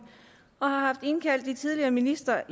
og har haft indkaldt de tidligere ministre